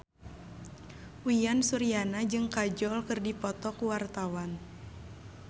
Uyan Suryana jeung Kajol keur dipoto ku wartawan